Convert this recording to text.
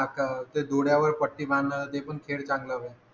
ते डोळ्यावर पट्टी बांधा ते पण खेळ चंगला व्हाय